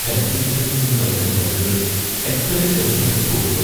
Health സെന്ററിൽ നിന്ന് നൽകുന്ന മരുന്നുകൾ എക്സ്പയറി കഴിഞ്ഞതായി തോന്നുന്നു.